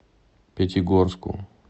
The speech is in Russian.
пятигорску